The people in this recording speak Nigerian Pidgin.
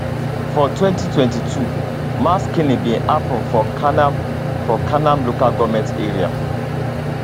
for 2022 mass killing bin happun for kanam for kanam local goment area